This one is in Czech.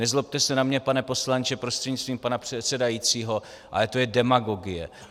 Nezlobte se na mě, pane poslanče prostřednictvím pana předsedajícího, ale to je demagogie.